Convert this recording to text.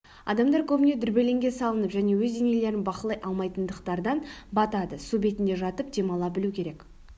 адамдар көбіне дүрбелеңге салынып және өз денелерін бақылай алмайтындықтардан батады су бетінде жатып демала білу керек